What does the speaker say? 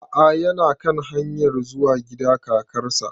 A'a yana kan hanyar zuwa gida kakar sa